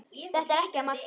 Þetta er ekkert að marka.